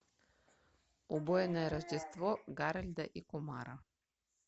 убойное рождество гарольда и кумара